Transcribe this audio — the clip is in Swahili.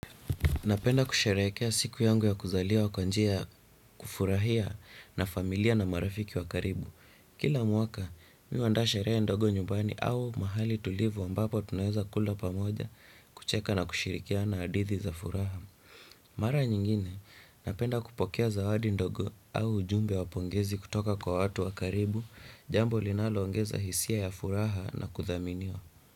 Napenda kusherehekea siku yangu ya kuzaliwa kwa njia kufurahia na familia na marafiki wa karibu. Kila mwaka, mi uandaa sherehe ndogo nyumbani au mahali tulivu ambapo tunaeza kula pamoja kucheka na kushirikiana hadithi za furaha. Mara nyingine, napenda kupokea zawadi ndogo au ujumbe wa pongezi kutoka kwa watu wa karibu, jambo linaloongeza hisia ya furaha na kuthaminiwa.